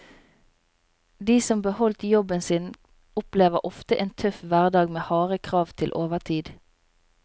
De som beholdt jobben sin opplever ofte en tøff hverdag med harde krav til overtid.